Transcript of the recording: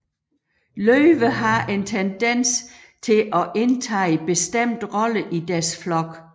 Løver har en tendens til at indtage bestemte roller i deres flok